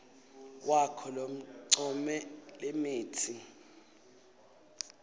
wakho loncome lemitsi